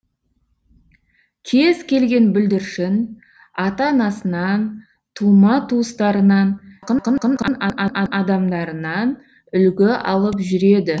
кез келген бүлдіршін ата анасынан тума туыстарынан адамдарынан үлгі алып жүреді